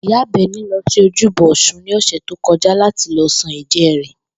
Ìyá Àbè̩ní lo̩ sí ojúbo̩ Ò̩sun ní ò̩sè̩ tó ko̩já láti lo̩ san è̩jé̩ rè̩